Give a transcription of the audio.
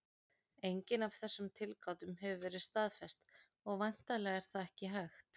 Engin af þessum tilgátum hefur verið staðfest, og væntanlega er það ekki hægt.